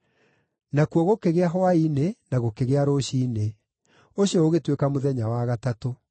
Nakuo gũkĩgĩa hwaĩ-inĩ na gũkĩgĩa rũciinĩ. Ũcio ũgĩtuĩka mũthenya wa gatatũ.